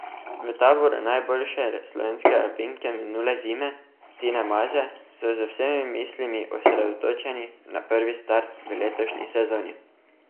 V taboru najboljše slovenske alpinke minule zime Tine Maze so z vsemi mislimi osredotočeni na prvi start v letošnji sezoni.